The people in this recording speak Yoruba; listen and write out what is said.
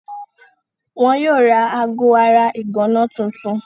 Wọn yóò ra aago ara ìgànná tuntun.